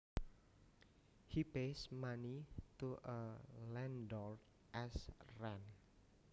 He pays money to a landlord as rent